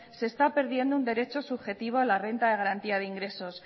se está perdiendo un derecho subjetivo a la renta de garantía de ingresos